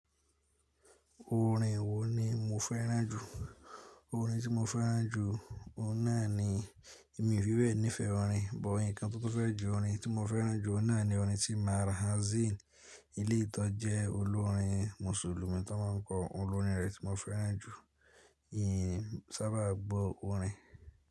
Orin wo ni mo fẹ́ràn jù? Orin tí mo fẹ́ràn jù, ó náà ni mi fi bee nífẹ̀ẹ́ orin, bọ̀ ǹkan tó fẹ́ jo orin tí mo fẹ́ràn jù ó náà ni orin tí Marah Zine, iléyii tọ́jẹ olorin Mùsùlùmí tó máa ń kọ orin orin rẹ̀ tí mo fẹ́ràn jù. Ìyìn sábà gbo orin.